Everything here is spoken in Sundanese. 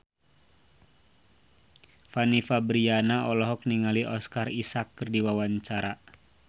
Fanny Fabriana olohok ningali Oscar Isaac keur diwawancara